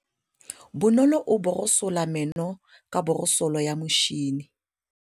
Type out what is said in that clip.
Bonolô o borosola meno ka borosolo ya motšhine.